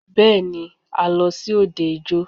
Bẹ́ẹ̀ni,a lọ sí òde ijó.